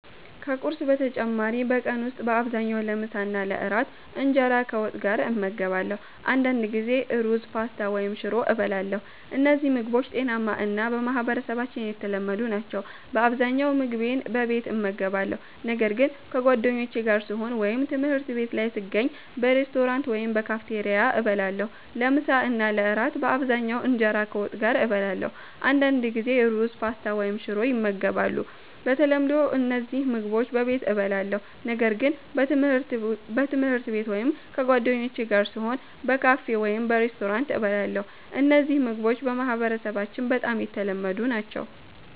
ከቁርስ በተጨማሪ በቀን ውስጥ በአብዛኛው ለምሳና ለእራት እንጀራ ከወጥ ጋር እመገባለሁ። አንዳንድ ጊዜ ሩዝ፣ ፓስታ ወይም ሽሮ እበላለሁ። እነዚህ ምግቦች ጤናማ እና በማህበረሰባችን የተለመዱ ናቸው። በአብዛኛው ምግቤን በቤት እመገባለሁ፣ ነገር ግን ከጓደኞቼ ጋር ስሆን ወይም ትምህርት ቤት ላይ ስገኝ በሬስቶራንት ወይም በካፌቴሪያ እበላለሁ። ለምሳ እና ለእራት በአብዛኛው እንጀራ ከወጥ ጋር እበላለሁ። አንዳንድ ጊዜ ሩዝ፣ ፓስታ ወይም ሽሮ ይመገባሉ። በተለምዶ እነዚህ ምግቦች በቤት እበላለሁ፣ ነገር ግን በትምህርት ቤት ወይም ከጓደኞቼ ጋር ስሆን በካፌ ወይም በሬስቶራንት እበላለሁ። እነዚህ ምግቦች በማህበረሰባችን በጣም የተለመዱ ናቸው።